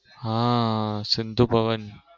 હા સિંધુ ભવન.